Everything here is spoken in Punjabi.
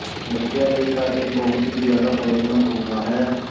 ਬੱਚਿਆਂ ਲਈ ਤਾਂ ਇਹ ਬਹੁਤ ਹੀ ਜ਼ਿਆਦਾ ਫਾਇਦੇਮੰਦ ਹੁੰਦਾ ਹੈ